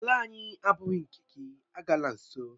Ala ahụ agbụghị nke gị, agala nso!